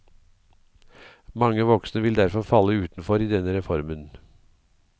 Mange voksne vil derfor falle utenfor i denne reformen.